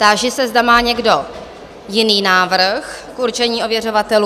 Táži se, zda má někdo jiný návrh k určení ověřovatelů?